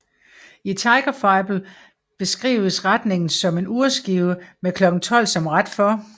I Tigerfibel beskrives retningen som en urskive med klokken 12 som ret for